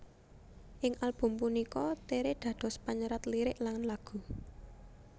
Ing album punika Tere dados panyerat lirik lan lagu